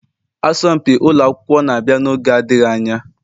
Asọmpi ụlọ akwụkwọ na-abịa n'oge adịghị anya.